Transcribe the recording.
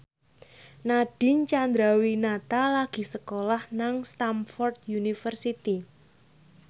Nadine Chandrawinata lagi sekolah nang Stamford University